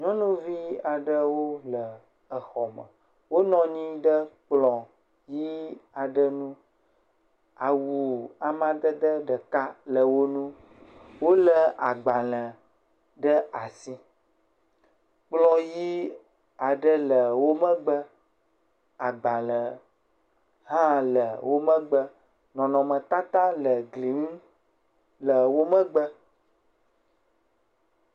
Nyɔnuvi ɖewo le exɔme. Wonɔ anyi ɖe kplɔ̃ ʋii aɖe ŋu, awu amadede ɖeka le wo nu, wolé agbalẽ ɖe asi kple yi aɖe le wo megbe, agbalẽ hã le wo megbe. Nɔnɔmetata le gli ŋu le wo megbe.